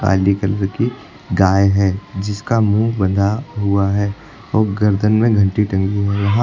काली colour की गाय है जिसका मुंह बंधा हुआ है और गर्दन में घंटी टंगी हुई है यहां--